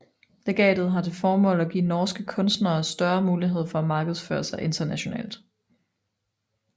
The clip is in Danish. Legatet har til formål at give norske kunstnere større mulighed for at markedsføre sig internationalt